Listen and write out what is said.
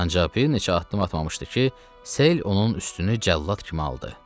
Ancaq bir neçə addım atmamışdı ki, sel onun üstünü cəllad kimi aldı.